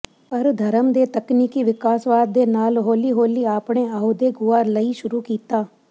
ਪਰ ਧਰਮ ਦੇ ਤਕਨੀਕੀ ਵਿਕਾਸਵਾਦ ਦੇ ਨਾਲ ਹੌਲੀ ਹੌਲੀ ਆਪਣੇ ਅਹੁਦੇ ਗੁਆ ਲਈ ਸ਼ੁਰੂ ਕੀਤਾ